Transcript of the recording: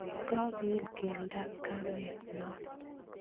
kakoil keldoap komet noo